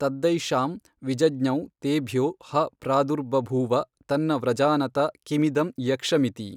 ತದ್ಧೈಷಾಂ ವಿಜಜ್ಞೌ ತೇಭ್ಯೋ ಹ ಪ್ರಾದುರ್ಬಭೂವ ತನ್ನ ವ್ರಜಾನತ ಕಿಮಿದಂ ಯಕ್ಷಮಿತಿ।